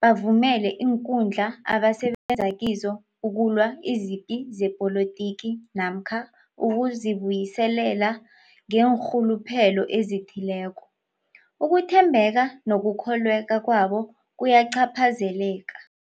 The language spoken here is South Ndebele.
bavumele iinkundla abasebenza kizo ukulwa izipi zepolitiki namkha ukuzi buyiselela ngeenrhuluphelo ezithileko, ukuthembeka nokukholweka kwabo kuyacaphazeleka.